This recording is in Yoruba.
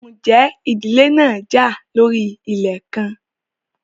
Ǹjẹ́ ìdílé náà já lórí ilẹ̀ kan?